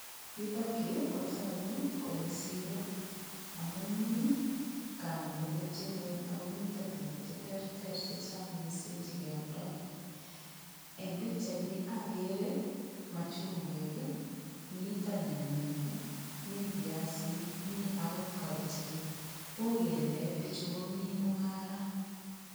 Yutokyu kotoku kole siro amun mi kamet netepchei ng'weny akomito tukuk cheterter chechang' mising' chekeoldoi eng' pikchaini akere machungwek mitonyanyek mi viasik mi akot kabichek uu kele pichu komi mung'ara